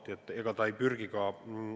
Seda ta ei saa ja ega sinnapoole ei pürgita ka.